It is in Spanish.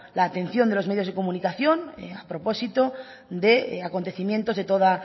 la atención de los medios de comunicación a propósito de acontecimientos de toda